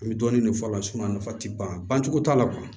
An bɛ dɔɔnin de fɔ a la a nafa tɛ bancogo t'a la